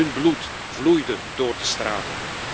Hun bloed vloeide door de straten.